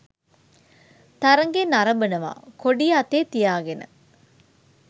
තරඟය නරඹනවා කොඩිය අතේ තියාගෙන.